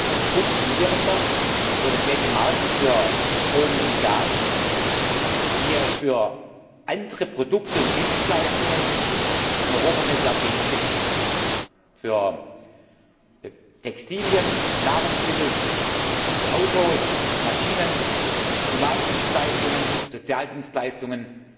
Ein funktionierender europäischer Markt für Strom und Gas, wie er für andere Produkte und Dienstleistungen in Europa seit Jahrzehnten besteht für Textilien, Nahrungsmittel, für Autos, Maschinen, Humandienstleistungen, Sozialdienstleistungen,